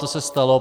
To se stalo.